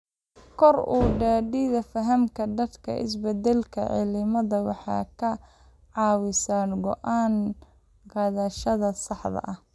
Kor u qaadida fahamka dadka ee isbedelka cimilada waxay ka caawisaa go'aan qaadashada saxda ah.